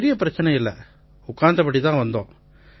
பெரிய பிரச்சனை இல்லை உட்கார்ந்தபடியே தான் வந்தோம்